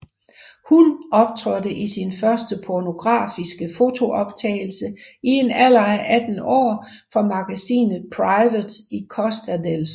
Hun optrådte i sin første pornografiske fotooptagelse i en alder af 18 år for magasinet Private i Costa del Sol